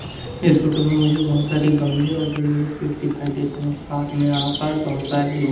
इस फोटो में मुझे बहोत सारी गमले पर और बड़े बड़े पेड़ दिखाई दे रहे हैं साथ में यहां पा बहोत सारे लोग--